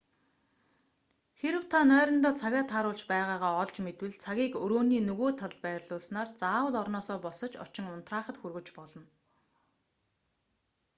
хэрэв та нойрондоо цагаа тааруулж байгаагаа олж мэдвэл цагийг өрөөний нөгөө талд байрлуулснаар заавал орноосоо босож очин унтраахад хүргэж болно